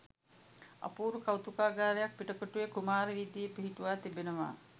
අපූරු කෞතුකාගාරයක් පිටකොටුවේ කුමාර වීදියේ පිහිටුවා තිබෙනවා